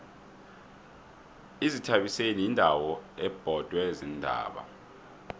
izithabiseni yindawo ebhodwe ziintaba